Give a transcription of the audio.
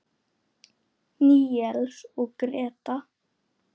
Níels og Gréta.